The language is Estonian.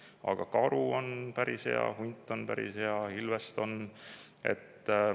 Aga karul on päris hea, hunti on päris ja ilvest on.